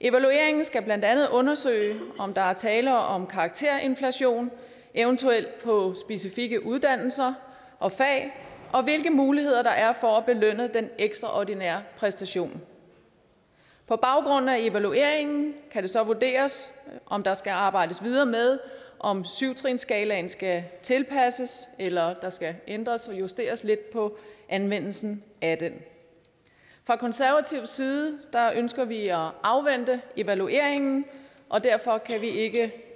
evalueringen skal blandt andet undersøge om der er tale om karakterinflation eventuelt på specifikke uddannelser og fag og hvilke muligheder der er for at belønne den ekstraordinære præstation på baggrund af evalueringen kan det så vurderes om der skal arbejdes videre med om syv trinsskalaen skal tilpasses eller der skal ændres eller justeres lidt på anvendelsen af den fra konservativ side ønsker vi at afvente evalueringen og derfor kan vi ikke